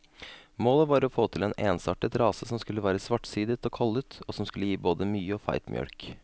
Målet var å få til en ensartet rase som skulle være svartsidet og kollet, og som skulle gi både mye og feit mjølk.